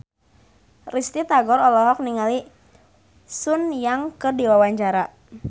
Risty Tagor olohok ningali Sun Yang keur diwawancara